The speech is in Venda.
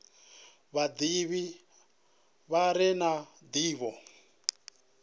vhadivhi vha re na ndivho